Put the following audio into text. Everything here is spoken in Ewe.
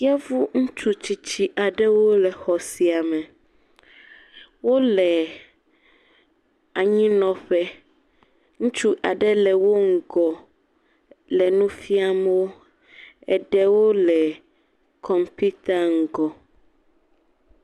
Yevu ŋutsu tsitsi aɖewo le xɔ sia me, wo le anyi nɔƒe, ŋutsu aɖe le wo ŋgɔ le nu fiam wò, eɖewo le kɔmpita ŋgɔ.